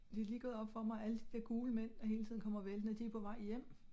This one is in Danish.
Det er lige gået op for mig alle de dér gule mænd der hele tiden kommer væltende de er på vej hjem